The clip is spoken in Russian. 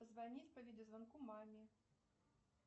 позвонить по видеозвонку маме